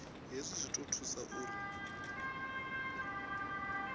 hezwi zwi ḓo thusa uri